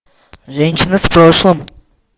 женщина в прошлом